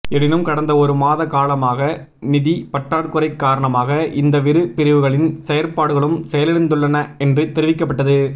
எனினும் கடந்த ஒரு மாத காலமாக நிதி பற்றாக்குறை காரணமாக இந்தவிரு பிரிவுகளின் செயற்பாடுகளும் செயலிழந்துள்ளன என்று தெரிவிக்கப்பட்டது